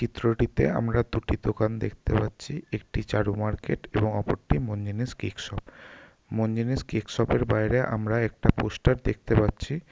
চিত্রটিতে আমরা দুটি দোকান দেখতে পাচ্ছি একটি চারু মার্কেট এবং অপরটি Mon Jinish cake shop Mon Jinish cake shop এর বাইরে আমরা একটা পোস্টার দেখতে পাচ্ছি ।